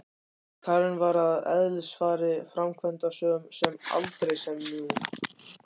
Karen var að eðlisfari framkvæmdasöm en aldrei sem nú.